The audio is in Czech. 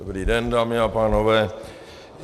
Dobrý den dámy a pánové.